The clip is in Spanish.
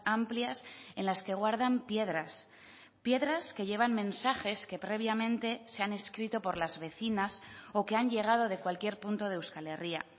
amplias en las que guardan piedras piedras que llevan mensajes que previamente se han escrito por las vecinas o que han llegado de cualquier punto de euskal herria